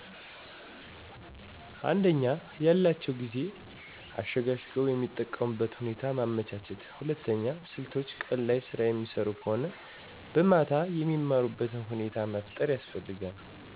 አንደኛ፦ ያላቸውን ጊዜ አሸጋሽገዉ የሚጠቀሙበት ሁኔታ ማመቻቸት ሁለተኛ፦ ስልቶች ቀን ላይ ስራ የሚሰሩ ከሆነ በማታ የሚማሩበትን ሁኔታ መፍጠር ያስፈልጋል።